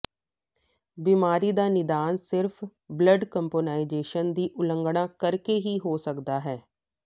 ਬਿਮਾਰੀ ਦਾ ਨਿਦਾਨ ਸਿਰਫ਼ ਬਲੱਡ ਕੰਪੋਨਾਈਜ਼ੇਸ਼ਨ ਦੀ ਉਲੰਘਣਾ ਕਰਕੇ ਹੀ ਹੋ ਸਕਦਾ ਹੈ